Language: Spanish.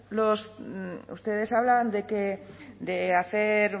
ustedes hablan de hacer